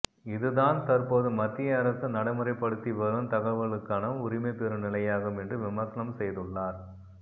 இதுதான் தற்போது மத்திய அரசு நடைமுறைப்படுத்தி வரும் தகவல்களுக்கான உரிமை பெறும் நிலையாகும் என்று விமர்சனம் செய்துள்ளார்